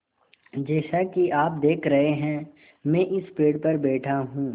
जैसा कि आप देख रहे हैं मैं इस पेड़ पर बैठा हूँ